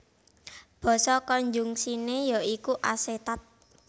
Basa konjungsiné ya iku asetat